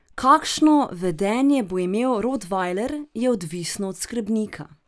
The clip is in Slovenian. Kakšno vedenje bo imel rotvajler, je odvisno od skrbnika.